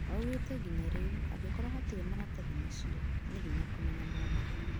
Aũgĩte nginya rĩu, angĩkorwo hatĩre maratathi macĩo, nĩ hĩnya kũmenya maumĩrĩra